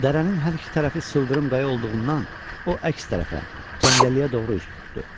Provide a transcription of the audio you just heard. Dərənin hər iki tərəfi sıldırım qaya olduğundan o əks tərəfə, cəngəlliyə doğru üz tutdu.